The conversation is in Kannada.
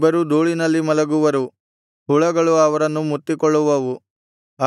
ಇಬ್ಬರೂ ಧೂಳಿನಲ್ಲಿ ಮಲಗುವರು ಹುಳುಗಳು ಅವರನ್ನು ಮುತ್ತಿಕೊಳ್ಳುವವು